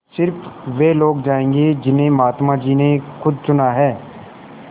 स़िर्फ वे लोग जायेंगे जिन्हें महात्मा जी ने खुद चुना है